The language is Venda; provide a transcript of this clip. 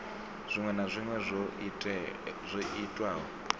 dziṅwe na dziṅwe dzo itwaho